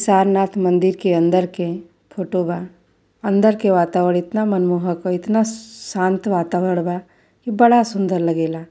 सरनाथ मंदिर के अंदर के फोटो बा। अंदर के वातावरण इतना मनमोहक औ इतना शांत वातावरण बा कि बड़ा सुँदर लागेला।